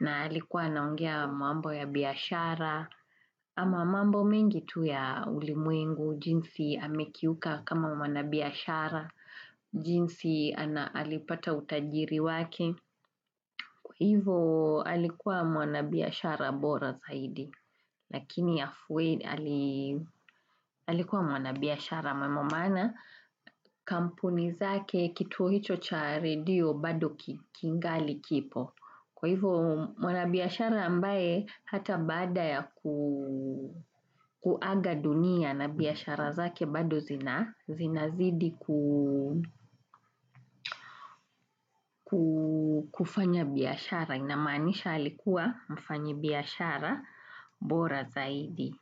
Na alikuwa anaongea mambo ya biashara ama mambo mengi tu ya ulimwengu, jinsi amekiuka kama mwanabiashara. Jinsi alipata utajiri wake. Hivyo, alikuwa wanabiashara bora zaidi. Lakini alikuwa mwanabiashara maana kituo hicho cha redio bado kingali kipo. Kwa hivyo mwana biashara ambaye hata baada ya kuaga dunia na biashara zake bado zinazidi kufanya biashara. Inamaanisha alikuwa mfanyi biashara bora zaidi.